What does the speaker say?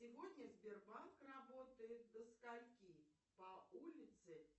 сегодня сбербанк работает до скольки по улице